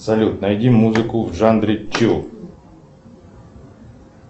салют найди музыку в жанре чу